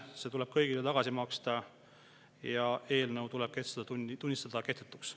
See tuleb kõigile tagasi maksta ja eelnõu tuleb tunnistada kehtetuks.